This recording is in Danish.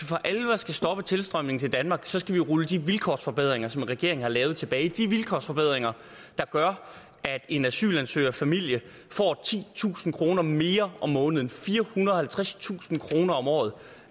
for alvor skal stoppe tilstrømningen til danmark skal vi rulle de vilkårsforbedringer som regeringen har lavet tilbage de vilkårsforbedringer der gør at en asylansøgerfamilie får titusind kroner mere om måneden firehundrede og halvtredstusind kroner om året